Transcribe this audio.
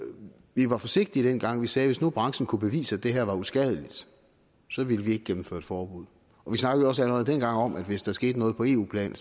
vi var forsigtige dengang vi sagde at hvis nu branchen kunne bevise at det her var uskadeligt så ville vi ikke gennemføre et forbud vi snakkede også allerede dengang om at hvis der skete noget på eu plan